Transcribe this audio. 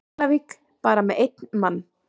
Keflavík bara með einn mann?